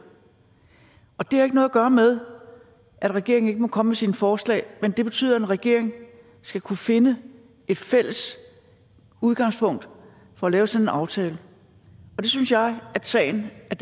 det har ikke noget at gøre med at regeringen ikke må komme med sine forslag men det betyder at en regering skal kunne finde et fælles udgangspunkt for at lave sådan en aftale det synes jeg at sagen er